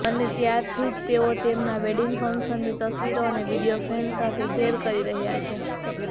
અને ત્યારથી તેઓ તેમના વેડિંગ ફંક્શનની તસવીરો અને વીડિયો ફેન્સ સાથે શેર કરી રહ્યા છે